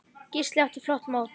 Gísli átti flott mót.